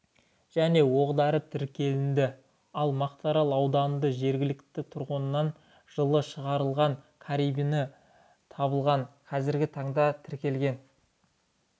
және оқ-дәрі тәркіленді ал мақтарал ауданында жергілікті тұрғыннан жылы шығарылған карабині табылған қазіргі таңда тәркіленген